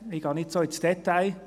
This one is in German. ich gehe nicht so ins Detail.